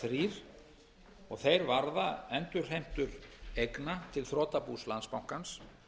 eru einkanlega þrír og þeir varða endurheimtur eigna til þrotabús landsbankans